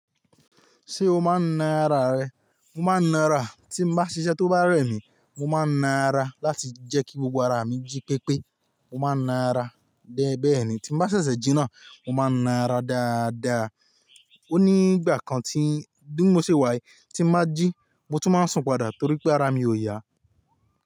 Ṣé o máa ń na ara rẹ? Mo máa ń na ara, tí n bá ṣiṣẹ́ tó bá rẹ mi, mo máa na ara láti jẹ́ kí gbogbo ara mi jí pépé. Mo máa ń na ara dé bẹ́ẹ̀ ni tí n bá ṣẹ̀ṣẹ̀ jí ná, mo máa ń na ara dáadáa. Ó ní ìgbà kan tí bi mo ṣe wà yí, tí n bá jí mo tún máa sùn padà torí pé ara mi ò ya.